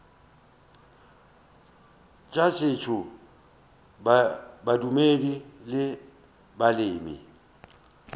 tša setšo bodumedi le maleme